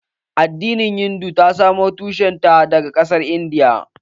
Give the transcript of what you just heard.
Addinin hindu ta samo tushen ta daga ƙasar Indiya